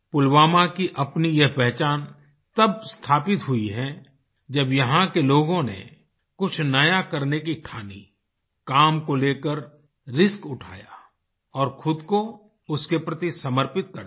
पुलवामा की अपनी यह पहचान तब स्थापित हुई है जब यहाँ के लोगों ने कुछ नया करने की ठानी काम को लेकर रिस्क उठाया और ख़ुद को उसके प्रति समर्पित कर दिया